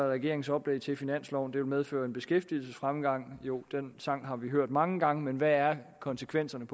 regeringens oplæg til finansloven vil medføre en beskæftigelsesfremgang jo den sang har vi hørt mange gange men hvad er konsekvenserne